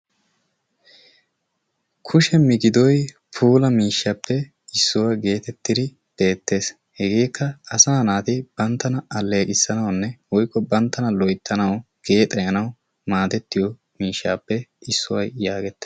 Kushshe miigidoy puula miishshappe issuwaa gettettidi beettees. hegeekka asaa naati banttana alleqissanawunne woykko banttana loyttanawu geexeyanawu maadettiyoo mishshaappe issuwaa yaagetettidi